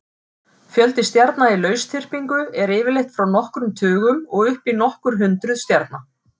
Fjöldi stjarna í lausþyrpingu er yfirleitt frá nokkrum tugum og upp í nokkur hundruð stjarna.